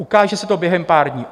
Ukáže se to během pár dní.